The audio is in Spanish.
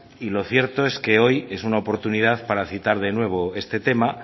y lo cierto que hoy es una oportunidad para citar de nuevo este tema